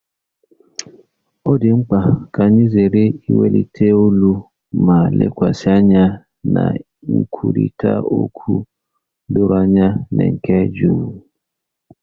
Ọ dị mkpa ka anyị zere iwelite olu ma lekwasị anya na nkwurịta okwu doro anya na nke jụụ.